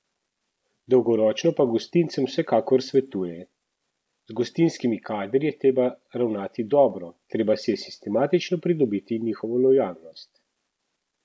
Dolgoročno pa gostincem vsekakor svetuje: "Z gostinskimi kadri je treba ravnati dobro, treba si je sistematično pridobiti njihovo lojalnost.